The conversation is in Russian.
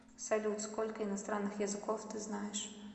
салют сколько иностранных языков ты знаешь